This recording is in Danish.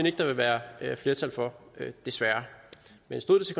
ikke der vil være flertal for desværre men stod det